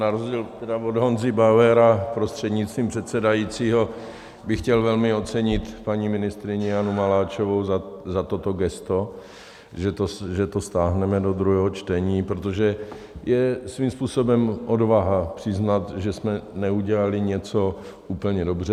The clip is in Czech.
Na rozdíl od Honzy Bauera, prostřednictvím předsedajícího, bych chtěl velmi ocenit paní ministryni Janu Maláčovou za toto gesto, že to stáhneme do druhého čtení, protože je svým způsobem odvaha přiznat, že jsme neudělali něco úplně dobře.